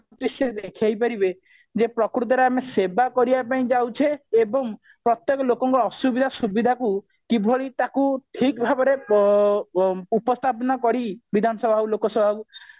ସେ ଦେଖେଇପାରିବେ ଯେ ପ୍ରକୃତରେ ଆମେ ସେବା କରିବା ପାଇଁ ଯାଉଛେ ଏବଂ ପ୍ରତେକ ଲୋକଙ୍କ ଅସୁବିଧା ସୁବିଧାକୁ କିଭଳି ତାକୁ ଠିକ ଭାବରେ ଆଁ ଉପସ୍ଥାପନ କରି ବିଧାନସଭା ଆଉ ଲୋକସଭା କୁ